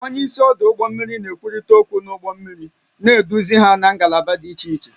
Onye isi ọdụ ụgbọ mmiri na-ekwurịta okwu na ụgbọ mmiri, na-eduzi ha na ngalaba dị iche iche